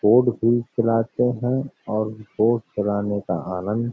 boat भी चलाते हैं और बोट चलाने का आनंद --